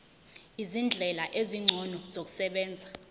izindlela ezingcono zokusebenza